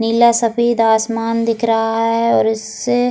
नीला सफेद आसमान दिख रहा है और इससे।